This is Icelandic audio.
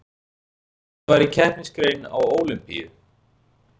Ef þetta væri keppnisgrein á Ólympíu